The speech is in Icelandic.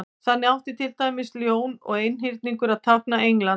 þannig átti til dæmis ljón og einhyrningur að tákna england